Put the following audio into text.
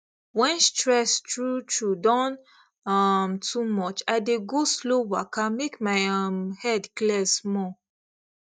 when stress truetrue don um too much i dey go slow waka make my um head clear small